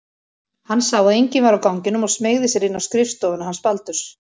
Hann sá að enginn var á ganginum og smeygði sér inn á skrifstofuna hans Baldurs.